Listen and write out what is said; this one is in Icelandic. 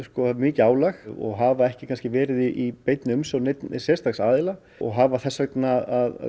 mikið álag og hafa ekki verið í umsjón neins sérstaks aðila og hafa þess vegna